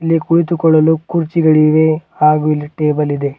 ಇಲ್ಲಿ ಕುಳಿತುಕೊಳ್ಳಲು ಕೂರ್ಚಿಗಳಿವೆ ಹಾಗು ಇಲ್ಲಿ ಟೇಬಲ್ ಇದೆ.